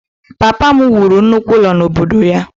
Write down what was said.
Papa m wuru nnukwu ụlọ n’obodo anyị.